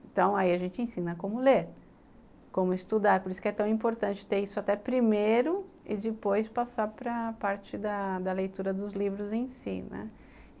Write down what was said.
Então aí a gente ensina como ler, como estudar, por isso que é tão importante ter isso até primeiro e depois passar para a parte da da leitura dos livros em si, né.